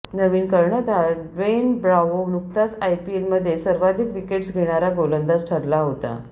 नवीन कर्णधार Dwayne Bravo नुकताच आयपीएलमध्ये सर्वाधिक विकेट्स घेणारा गोलंदाज ठरला होता